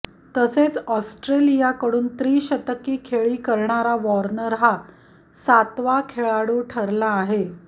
तसेच ऑस्ट्रेलियाकडून त्रिशतकी खेळी करणारा वॉर्नर हा सातवा खेळाडू ठरला आहे